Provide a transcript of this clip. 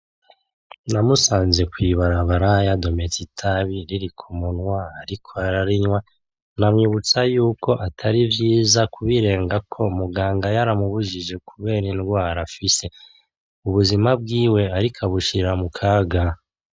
Namusanze kwibarabara yadometse itabi riri kumunwa ariko ararinywa anyibutsa yuko atari vyiza kubirengako muganga yaramubujije kubera ingwara afise ubuzima bwiwe ariko abushira mukaga